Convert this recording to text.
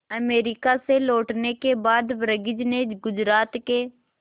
America से लौटने के बाद वर्गीज ने गुजरात के